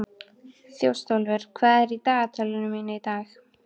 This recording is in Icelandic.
Þjóstólfur, hvað er í dagatalinu mínu í dag?